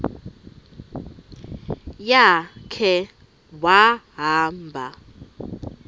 ya khe wahamba